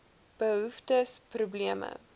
behoeftes probleme